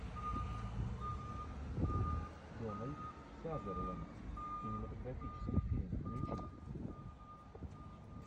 дональд сазерленд кинематографический фильм включи